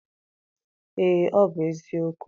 Ee, ọ bụ eziokwu.